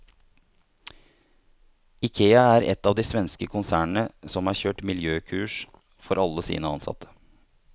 Ikea er ett av de svenske konsernene som har kjørt miljøkurs for alle sine ansatte.